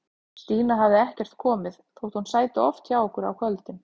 Stína hafði ekkert komið, þótt hún sæti oft hjá okkur á kvöldin.